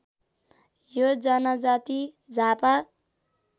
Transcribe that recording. यो जनजाति झापा